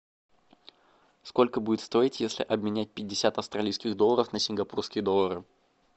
сколько будет стоить если обменять пятьдесят австралийских долларов на сингапурские доллары